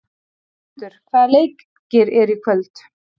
Jörundur, hvaða leikir eru í kvöld?